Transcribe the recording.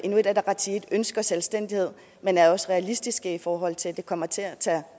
inuit ataqatigiit ønsker selvstændighed men er også realistiske i forhold til at det kommer til at tage